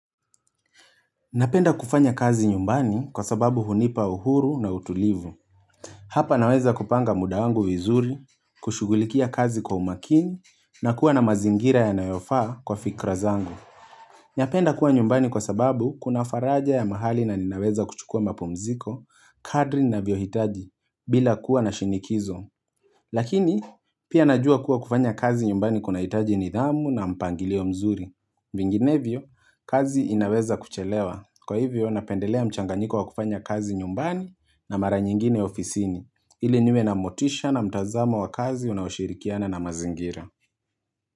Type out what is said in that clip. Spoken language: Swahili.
Napenda kufanya kazi nyumbani kwa sababu hunipa uhuru na utulivu Hapa naweza kupanga muda wangu vizuri, kushughulikia kazi kwa umakini, na kuwa na mazingira yanayofaa kwa fikra zangu Napenda kuwa nyumbani kwa sababu kuna faraja ya mahali na ninaweza kuchukua mapumziko, kadri ninavyohitaji, bila kuwa na shinikizo Lakini, pia najua kuwa kufanya kazi nyumbani kunahitaji nidhamu na mpangilio mzuri Vinginevyo, kazi inaweza kuchelewa. Kwa hivyo, napendelea mchanganyiko wa kufanya kazi nyumbani na mara nyingine ofisini, ili niwe na motisha na mtazamo wa kazi unaoshirikiana na mazingira.